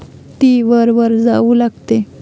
ती वर वर जाऊ लागते.